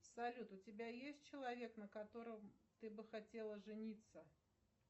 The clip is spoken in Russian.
салют у тебя есть человек на котором ты бы хотела жениться